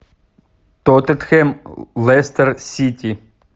тоттенхэм лестер сити